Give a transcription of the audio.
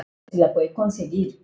Ég get ekki lifað.